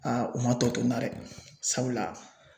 u man tɔ to n na dɛ sabula